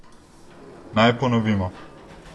Naj ponovimo.